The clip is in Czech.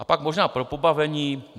A pak možná pro pobavení.